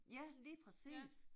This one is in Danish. Ja lige præcis